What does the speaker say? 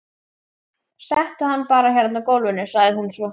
Settu hann bara hérna á gólfið, sagði hún svo.